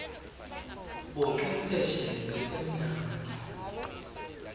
bocwephesha betemnotfo